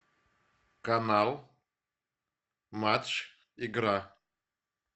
канал матч игра